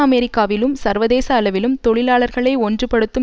அமெரிக்காவிலும் சர்வதேச அளவிலும் தொழிலாளர்களை ஒன்றுபடுத்தும்